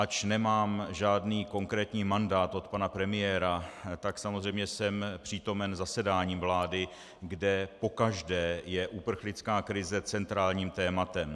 Ač nemám žádný konkrétní mandát od pana premiéra, tak samozřejmě jsem přítomen zasedáním vlády, kde pokaždé je uprchlická krize centrálním tématem.